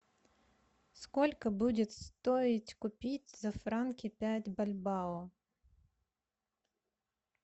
сколько будет стоить купить за франки пять бальбоа